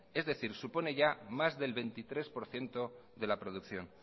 es decir supone ya más del veintitrés por ciento de la producción